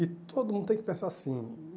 E todo mundo tem que pensar assim.